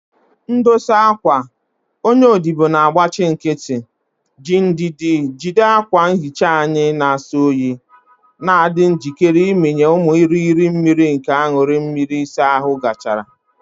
Ndosa akwa, onye odibo na-agbachi nkịtị, ji ndidi jide akwa nhicha anyị na-asọ oyi, na-adị njikere ịmịnye ụmụ irighiri mmiri nke aṅụrị mmiri ịsa ahụ gachara.